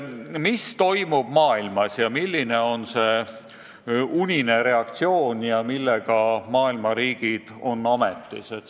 Mis toimub maailmas, milline on see unine reaktsioon ja millega maailma riigid on ametis?